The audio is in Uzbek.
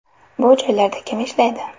Bu joylarda kim ishlaydi?